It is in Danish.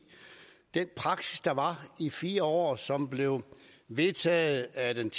den praksis der var i fire år og som blev vedtaget af den